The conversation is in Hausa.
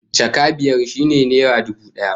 Jaka biyar shine naira dubu daya